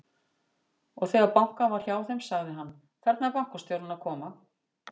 Og þegar bankað var hjá þeim, sagði hann: Þarna er bankastjórinn að koma.